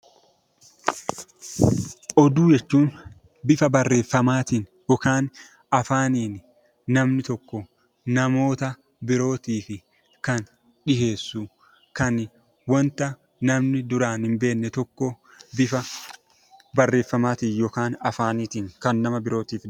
Oduu jechuun bifa barreeffamaatiin yookaan afaaniin namni tokko namoota birootii fi kan dhiyeessu, kan wanta namni duraan hin beekne tokko bifa barreeffamaatiin yookaan afaaniitiin kan nama birootiif himu.